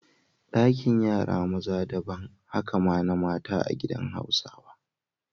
Dakin yara maza daban, haka ma na mata a gidan Hausawa.